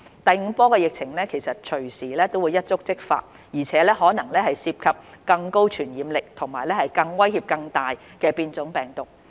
第五波疫情隨時一觸即發，而且可能涉及更高傳染力和威脅更大的變種病毒。